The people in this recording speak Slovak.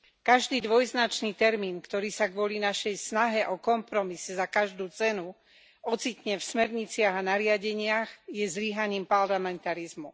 Každý dvojznačný termín, ktorý sa kvôli našej snahe o kompromis za každú cenu ocitne v smerniciach a nariadeniach, je zlyhaním parlamentarizmu.